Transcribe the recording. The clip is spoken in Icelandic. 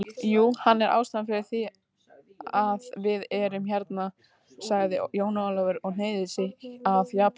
Jú, hann er ástæðan fyrir þv´iað við erum hérna sagði Jón Ólafur og hneigði sig að japönskum sið.